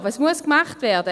Was muss gemacht werden?